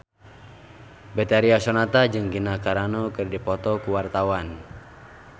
Betharia Sonata jeung Gina Carano keur dipoto ku wartawan